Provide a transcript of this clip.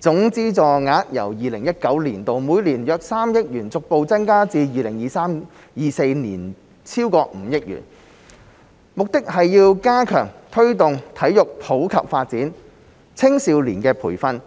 總資助額由 2019-2020 年度每年約3億元逐步增加至 2023-2024 年度超過5億元，目的是要加強推動體育普及發展、青少年培訓、